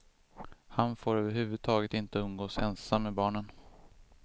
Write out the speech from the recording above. Han får över huvud taget inte umgås ensam med barnen.